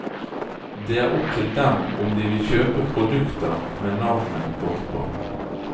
Det er opp til dem om de vil kjøpe produkter med navnet vårt på.